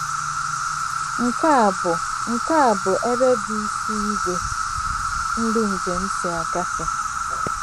Nke a bụ Nke a bụ ebe bụ́ isi ìgwè ndị njem si gafee.